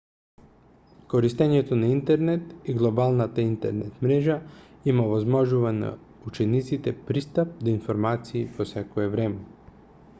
користењето на интернетот и глобалната интернет мрежа им овозможува на учениците пристап до информации во секое време